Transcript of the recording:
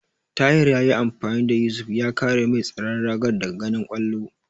Tahir yayi amfani da Yusuf ya kare mai tsaron ragar daga ganin kwallon.